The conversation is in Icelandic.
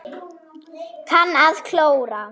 Kann að klóra.